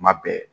Kuma bɛɛ